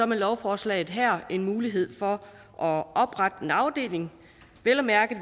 med lovforslaget her en mulighed for at oprette en afdeling vel at mærke